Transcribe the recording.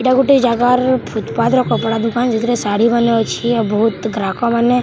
ଇଟା ଗୁଟେ ଜାଗାର ଫୁଟଫାତ୍‌ ର କପଡା ଦୁକାନ୍‌ ଯେନଥିରେ ଶାଢ଼ି ମାନେ ଅଛେ ଆଉ ବହୁତ ଗ୍ରାହକ ମାନେ --